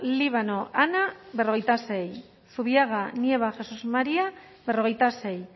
líbano ana berrogeita sei zubiaga nieva jesás maría berrogeita sei